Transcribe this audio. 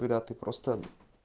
когда ты просто